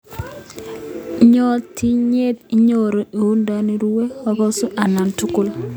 Ngotitinyei inyoru uindo irue ,ikosu anan kotugul